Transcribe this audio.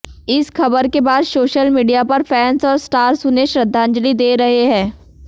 इस खबर के बाद सोशल मीडिया पर फैंस और स्टार्स उन्हें श्रद्धांजलि दे रहे हैं